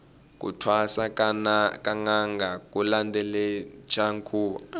ku thwasa ka nanga ku landelachi nkhuvo